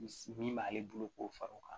Min b'ale bolo k'o fara o kan